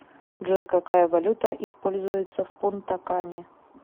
джой какая валюта используется в пунта кане